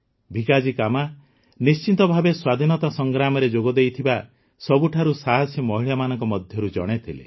ଭିକାଜୀ କାମା ନିଶ୍ଚିତ ଭାବେ ସ୍ୱାଧୀନତା ସଂଗ୍ରାମରେ ଯୋଗଦେଇଥିବା ସବୁଠାରୁ ସାହସୀ ମହିଳାମାନଙ୍କ ମଧ୍ୟରୁ ଜଣେ ଥିଲେ